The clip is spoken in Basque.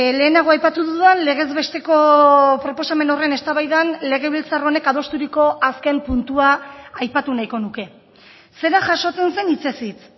lehenago aipatu dudan legez besteko proposamen horren eztabaidan legebiltzar honek adosturiko azken puntua aipatu nahiko nuke zera jasotzen zen hitzez hitz